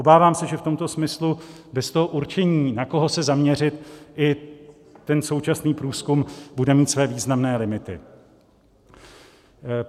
Obávám se, že v tomto smyslu bez toho určení, na koho se zaměřit, i ten současný průzkum bude mít své významné limity.